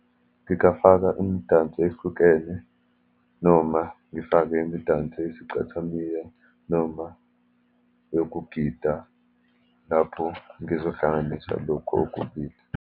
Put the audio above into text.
Ngingafaka imidanso ehlukene, noma ngifake imidanso yesicathamiya, noma yokugida, lapho ngizohlanganisa lokhu okubili.